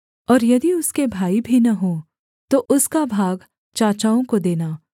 और यदि उसके भाई भी न हों तो उसका भाग चाचाओं को देना